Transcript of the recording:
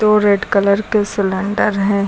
और red colour के cylinder हैं।